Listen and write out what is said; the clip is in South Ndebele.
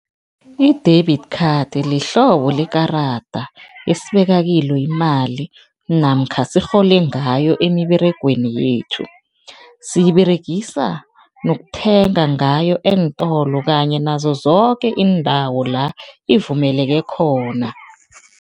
I-debit card lihlobo lekarada esibeka kilo imali namkha sirhole ngayo emiberegweni yethu, siyiberegisa nokuthenga ngayo eentolo kanye nazo zoke iindawo la ivumeleke khona.